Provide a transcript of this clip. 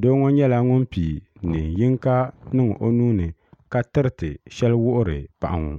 doo ŋɔ nyɛla ŋun piigi niɛn yinka niŋ o nuuni ka tiriti sheli wuhiri paɣa ŋɔ.